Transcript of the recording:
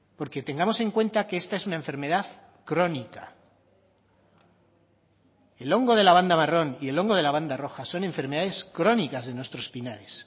porque tengamos en cuenta que esta es una enfermedad crónica el hongo de la banda marrón y el hongo de la banda roja son enfermedades crónicas de nuestros pinares